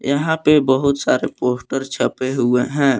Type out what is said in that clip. यहाँ पे बहुत सारे पोस्टर छपे हुए हैं।